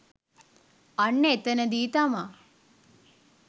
අන්න එතැනදී තමා